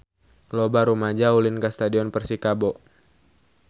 Loba rumaja ulin ka Stadion Persikabo